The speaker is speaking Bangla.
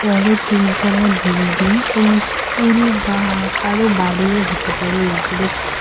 বড়ো তিনতলা বিল্ডিং কোনো স্কুল বা কারও বাড়িও হতে পারে উপরে।